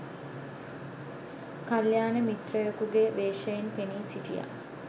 කල්‍යාණ මිත්‍රයෙකුගේ වේශයෙන් පෙනී සිටියා.